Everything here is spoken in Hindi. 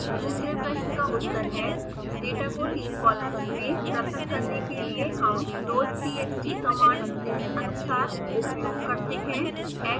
दूसरे प्रश्न का उत्तर है डेटा को तीन कॉलम्स में पृथक करने के लिए हम loadtxt कमांड निम्नानुसार उपयोग करते हैं